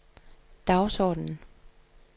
dagsordenen